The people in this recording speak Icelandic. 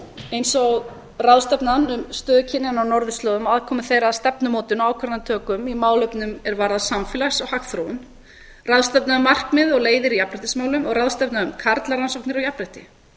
eins og ráðstefnan um stöðu kynjanna á á norðurslóðum og aðkomu þeirra að stefnumótun og ákvörðunartöku í málefnum er varða samfélags og hagþróun ráðstefna um markmið og leiðir í jafnréttismálum og ráðstefna um karlarannsóknir á jafnrétti